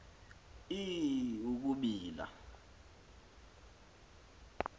i i ukubila